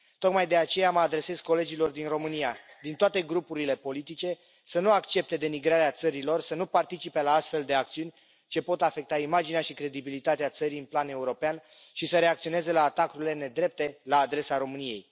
Tocmai de aceea mă adresez colegilor din România, din toate grupurile politice, să nu accepte denigrarea țării lor, să nu participe la astfel de acțiuni ce pot afecta imaginea și credibilitatea țării în plan european și să reacționeze la atacurile nedrepte la adresa României.